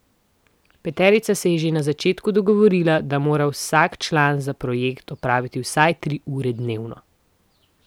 Peterica se je že na začetku dogovorila, da mora vsak član za projekt opraviti vsaj tri ure dnevno.